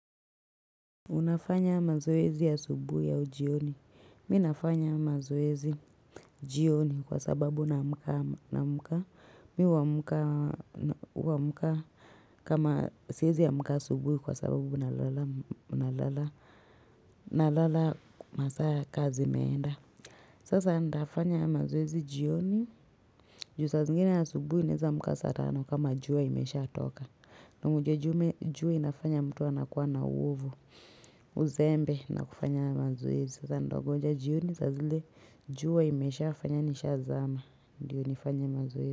Unafanya mazoezi asubuhi au jioni. Mimi nafanya mazoezi jioni kwasababu naamka. Mi huamka kama siwezi amka subuhi kwa sababu na lala masaa ya kazi imeenda. Sasa nitafanya mazoezi jioni juu saa zingine asubuhi naweza amka saa tano kama jua imeshatoka kama ujue jua inafanya mtu anakuwa na uzembe na kufanya mazoezi Sasa nitangoja jioni saa zile jua imeshafanya nini isha zama Ndiyo nifanya mazoezi.